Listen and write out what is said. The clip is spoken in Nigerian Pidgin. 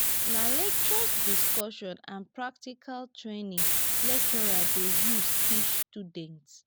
nah lectures discussion and practical training lecturers dey use teach students